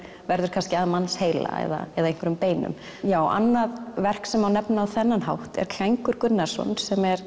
verður kannski að mannsheila eða eða einhverjum beinum já annað verk sem má nefna á þennan hátt er Klængur Gunnarsson sem er